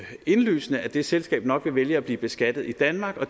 indlysende at det selskab nok vil vælge at blive beskattet i danmark